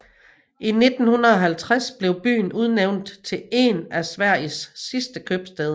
I 1950 blev byen udnævnt til én af Sveriges sidste købstæder